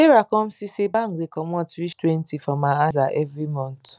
sarah come see say bank da comot reach twenty from her aza every month